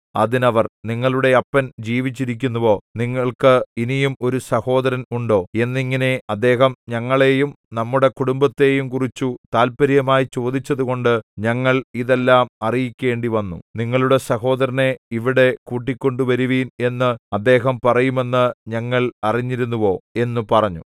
അതിന് അവർ നിങ്ങളുടെ അപ്പൻ ജീവിച്ചിരിക്കുന്നുവോ നിങ്ങൾക്ക് ഇനിയും ഒരു സഹോദരൻ ഉണ്ടോ എന്നിങ്ങനെ അദ്ദേഹം ഞങ്ങളെയും നമ്മുടെ കുടുംബത്തെയുംകുറിച്ചു താല്പര്യമായി ചോദിച്ചതുകൊണ്ട് ഞങ്ങൾ ഇതെല്ലാം അറിയിക്കേണ്ടിവന്നു നിങ്ങളുടെ സഹോദരനെ ഇവിടെ കൂട്ടിക്കൊണ്ടുവരുവിൻ എന്ന് അദ്ദേഹം പറയുമെന്നു ഞങ്ങൾ അറിഞ്ഞിരുന്നുവോ എന്നു പറഞ്ഞു